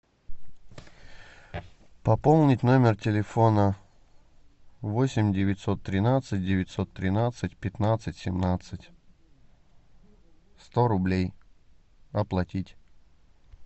пополнить номер телефона восемь девятьсот тринадцать девятьсот тринадцать пятнадцать семнадцать сто рублей оплатить